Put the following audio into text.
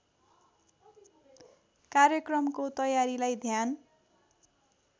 कार्यक्रमको तयारीलाई ध्यान